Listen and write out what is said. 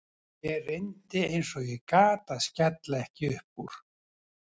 Ég reyndi eins og ég gat að skella ekki upp úr.